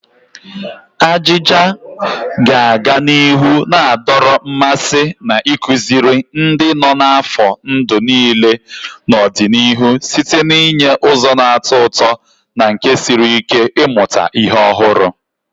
Ajija ga-aga n'ihu na-adọrọ mmasị na ịkụziri ndị nọ n'afọ ndụ niile n'ọdịnihu site n'inye ụzọ na-atọ ụtọ na nke siri ike ịmụta ihe ọhụrụ.